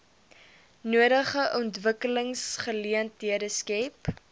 nodige ontwikkelingsgeleenthede skep